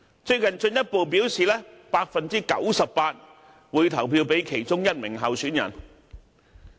最近他們更進一步表示 98% 會投票給其中一名候選人。